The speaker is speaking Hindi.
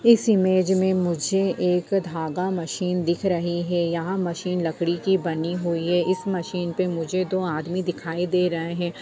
इस इमेज में मुझे एक धागा मशीन दिख रहे है। यह मशीन लकड़ी की बनी हुई है इस मशीन पे मुझे दो आदमी दिखाई दे रहे हैं।